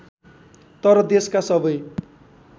तर देशका सबै